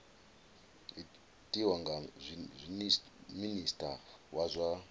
tiwa nga minista wa zwa